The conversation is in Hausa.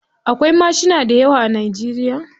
Akwai mashina dayawa a Najeriya.